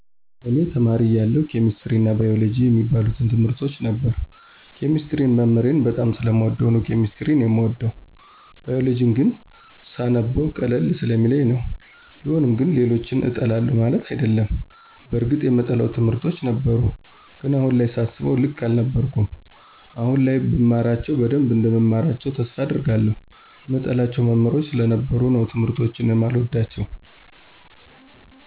እኔ ተማሪ እያለሁ ኬሚስትሪ አና ባይወሎጀጂ የሚባሉትን ትምርቶች ነበር። ኬሚስትሪን መምህሬን በጣም ስለምወደው ነው ኬሚስትሪን የምወደው። ባይወሎጂን ግን ስነበው ቀለል ስለሚለኝ ነው። ቢሆንም ግን ሌሎችን እጠላለሁ ማለት አይደለም። በርግጥ የምጠላቸው ትምህርቶች ነበሩ። ግን አሁን ላይ ሳስበው ልክ አልነበርኩም። አሁን ላይ ብማራቸው በደንብ እንደምማራቸው ተስፋ አደርጋለሁ። ምጠላቸው መሞህሮች ስለነበሩ ነው ትምርቶችን የማልወዳቸው።